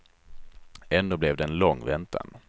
Ändå blev det en lång väntan.